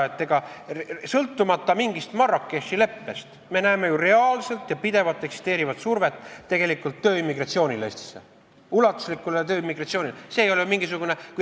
Sõltumata mingist Marrakechi leppest me näeme ju reaalselt ja pidevalt eksisteerivat survet, et oleks ulatuslik tööimmigratsioon Eestisse.